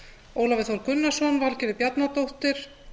ólafur þór gunnarsson valgerður bjarnadóttir